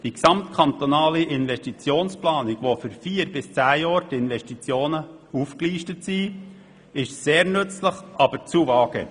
Die gesamtkantonale Investitionsplanung wiederum, in der die Investitionen für vier bis zehn Jahre aufgelistet sind, ist zwar sehr nützlich, aber zu vage.